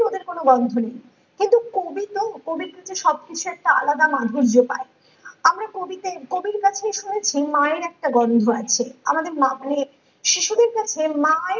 রোদের কোনো গন্ধ নেই কিন্তু কবি তো কবি থেকে সবকিছুর একটা আলাদা মাধুর্য পায় আমরা কবি তে কবির কাছে শুনেছি মায়ের একটা গন্ধ আছে আমাদের মা মানে শিশুদের কাছে মা ই